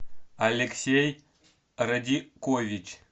алексей радикович